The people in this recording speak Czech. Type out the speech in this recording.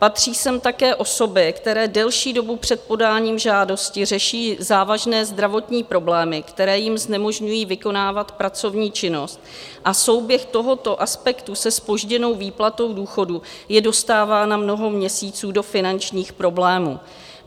Patří sem také osoby, které delší dobu před podáním žádosti řeší závažné zdravotní problémy, které jim znemožňují vykonávat pracovní činnost, a souběh tohoto aspektu se zpožděnou výplatou důchodu je dostává na mnoho měsíců do finančních problémů.